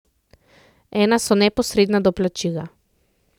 Ena so neposredna doplačila.